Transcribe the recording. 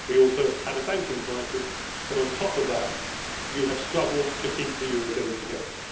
We also had a banking crisis, but on top of that you have struggled to keep the eurozone together.